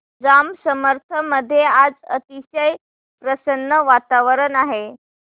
जांब समर्थ मध्ये आज अतिशय प्रसन्न वातावरण आहे